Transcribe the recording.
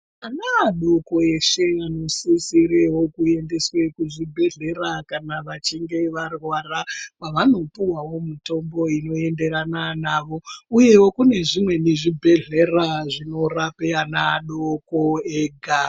Ana adoko eshe anosisirewo kuyendeswe kuzvibhedhlera kana vachinge varwara, kwavanopuwawo mitombo inoyenderana navo uyewo kune zvimweni zvibhedhlera zvinorape ana adoko ega.